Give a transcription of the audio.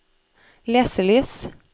leselys